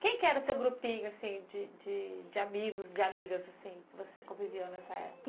Quem que era o seu grupinho assim de de amigos, de amigas que você conviveu nessa época?